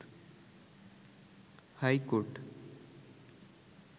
high court